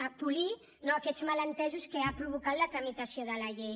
a polir no aquests malentesos que ha provocat la tramitació de la llei